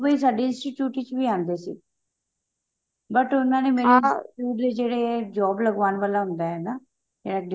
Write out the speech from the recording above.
ਸਾਡੇ institute ਵਿੱਚ ਵੀ ਆਉਂਦੇ ਸੀ but ਉਹਨਾ ਮੈਨੂੰ ਜਿਹੜੇ job ਲਗਵਾਉਣ ਵਾਲਾ ਹੁੰਦਾ ਹੈ ਨਾ ਜਾਂ